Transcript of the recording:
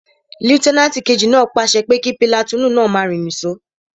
Lútẹ́nàtì kejì náà pàṣẹ pé kí pìlàtúùnù náà máa rìn ní sò